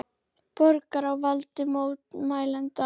Borgirnar á valdi mótmælenda